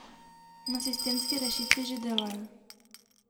Na sistemski rešitvi že delajo.